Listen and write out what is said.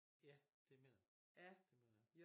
Ja det mener jeg det mener jer